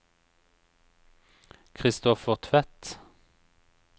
Kristoffer Tvedt